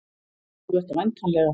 Þú ert væntanlega